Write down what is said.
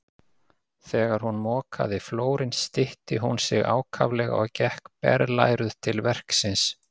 Þegar hún mokaði flórinn stytti hún sig ákaflega og gekk berlæruð til verksins.